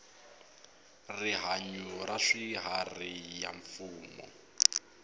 rihanyu ra swiharhi ya mfumo